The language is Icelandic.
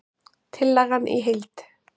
Tillagan í heild